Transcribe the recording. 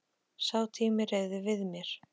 Sá tími hreyfði við mér.